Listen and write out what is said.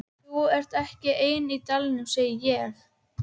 Þú ert þá ekki ein í dalnum, segi ég.